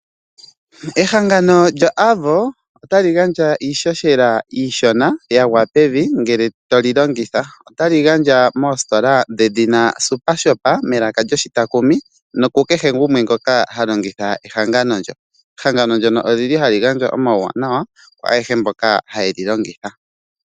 Ehangano lyoAvo otali gandja iishoshela iishona ya gwa pevi ngele toli longitha otali gandja moositola dhedhina SuperShop melaka lyoshitakumi nokukehe gumwe ngoka ha longitha ehangano ndyoka. Ehangano ndyono oli li hali gandja omauwanawa kwaayehe mbono haye li longitha.